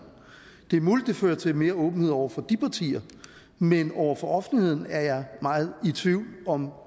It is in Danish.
det er muligt det fører til mere åbenhed over for de partier men over for offentligheden er jeg meget i tvivl om